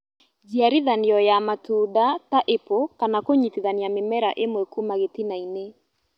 Njiarithanio ya matunda ta apple kana kũnyitithania mĩmera ĩmwe Kuma gĩtina -inĩ